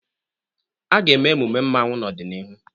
A ga-eme emume mmanwu n'ọdịnihu.